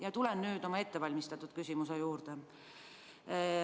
Aga tulen nüüd oma ettevalmistatud küsimuse juurde.